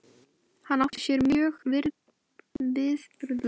Hann átti sér mjög viðburðaríkan æviferil, þótt ekkert komi hann við sögu í þessu riti.